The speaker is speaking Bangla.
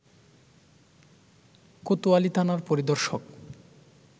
কোতয়ালী থানার পরিদর্শক